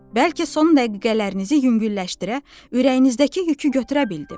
Bəlkə son dəqiqələrinizi yüngülləşdirə, ürəyinizdəki yükü götürə bildim.